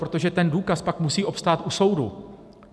Protože ten důkaz pak musí obstát u soudu.